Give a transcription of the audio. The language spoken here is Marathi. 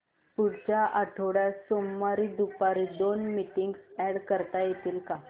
पुढच्या आठवड्यात सोमवारी दुपारी दोन मीटिंग्स अॅड करता येतील का